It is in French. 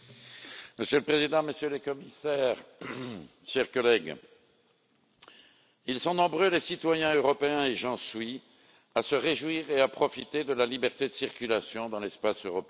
Monsieur le Président, Messieurs les Commissaires, chers collègues, ils sont nombreux les citoyens européens et j'en suis à se réjouir et à profiter de la liberté de circulation dans l'espace européen.